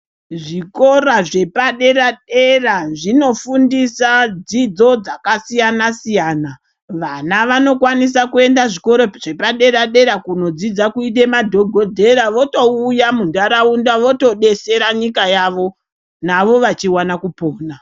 Zvikora zvepadera-dera zvinofundisa dzidzo dzakasiyanasiyana vana vanokwanisa kuenda zvikoro zvepaderadera kunodzidza kuite madhokodheya votouya munharaunda votodetsera nyika yavo navo vachiwana kupona.